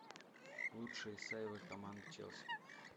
лучшие сейвы команды челси